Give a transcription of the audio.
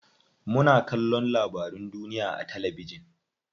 Muna kallon labarun duniya a talabijin.